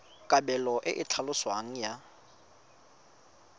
kabelo e e tlhaloswang ya